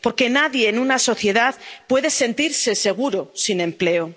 Porque nadie en una sociedad puede sentirse seguro sin empleo.